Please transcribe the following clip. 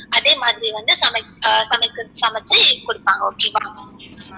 அதே மாதிரி வந்து ~ சமச்சி குடுப்பாங்க okay ஆ